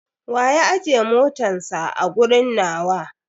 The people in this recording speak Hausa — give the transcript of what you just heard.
Wa ya ajje motatns a a gurin nawa?